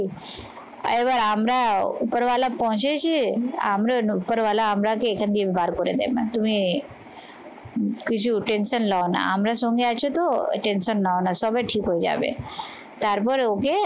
এবার আমরাও উপরওয়ালা পৌঁছেছি, আমরা উপরওয়ালা আমরা এখান দিয়ে বার করে দেব না তুমি কিছু tension নাও না। আমরা সঙ্গে আছি তো tension নাও না সবে ঠিক হয়ে যাবে তারপরে ওকে